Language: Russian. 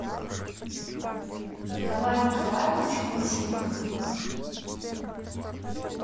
николай николаевич клюшников